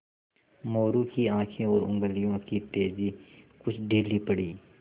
मोरू की आँखें और उंगलियों की तेज़ी कुछ ढीली पड़ी